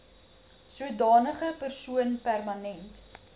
sodanige persoon permanent